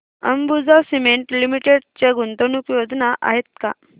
Ambuja cement limited च्या गुंतवणूक योजना आहेत का